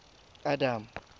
adam